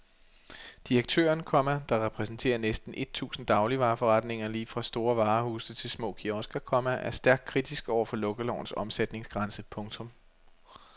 Direktøren, komma der repræsenterer næsten et tusind dagligvareforretninger lige fra store varehuse til små kiosker, komma er stærkt kritisk over for lukkelovens omsætningsgrænse. punktum